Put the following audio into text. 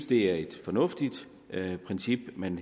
det er et fornuftigt princip man